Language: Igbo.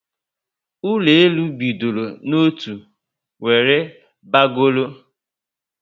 Ụlọ elu bịdọrọ n'otu were bagoro